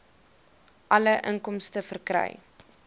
alle inkomste verkry